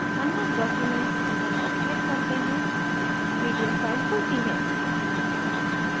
unlock document button पर click करते हैं pdf file खुलती है